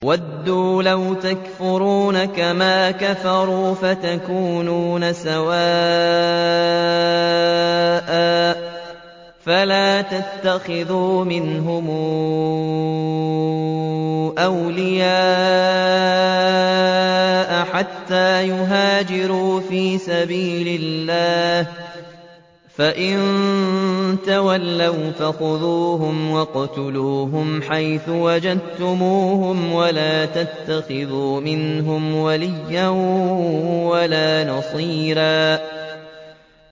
وَدُّوا لَوْ تَكْفُرُونَ كَمَا كَفَرُوا فَتَكُونُونَ سَوَاءً ۖ فَلَا تَتَّخِذُوا مِنْهُمْ أَوْلِيَاءَ حَتَّىٰ يُهَاجِرُوا فِي سَبِيلِ اللَّهِ ۚ فَإِن تَوَلَّوْا فَخُذُوهُمْ وَاقْتُلُوهُمْ حَيْثُ وَجَدتُّمُوهُمْ ۖ وَلَا تَتَّخِذُوا مِنْهُمْ وَلِيًّا وَلَا نَصِيرًا